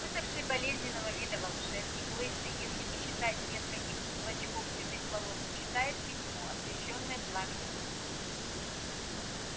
высохший болезненного вида волшебник лысый если не считать нескольких клочков седых волос читает письмо освещённое пламенем свечи